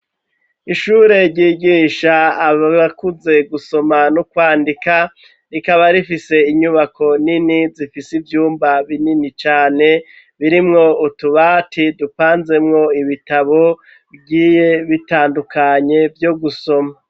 Ishure ryigisha abakuze gusoma no kwandika, rikaba rifise inyubako nini zifise ivyumba binini cane, birimwo utubati dupanzemwo ibitabo bigiye bitandukanye vyo gusoma.